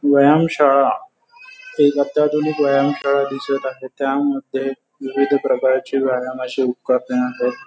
व्यायामशाळा एक अत्याधुनिक व्यायामशाळा दिसत आहे त्यामध्ये विविध प्रकारची व्यायामाची उपकरणे आहेत.